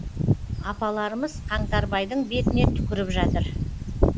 апаларымыз қаңтарбайдың бетіне түкіріп жатыр